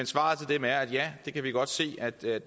svaret til dem er at ja vi kan godt se at det